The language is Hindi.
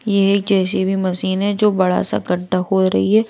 ये एक जे_सी_बी मशीन है जो बड़ा सा गड्ढा हो रही है।